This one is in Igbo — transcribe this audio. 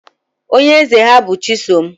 Onye eze ha bụ chisom